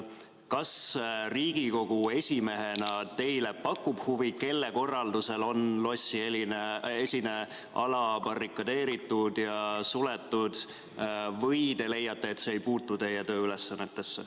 Kas Riigikogu esimehena teile pakub huvi, kelle korraldusel on lossiesine ala barrikadeeritud ja suletud, või te leiate, et see ei puutu teie tööülesannetesse?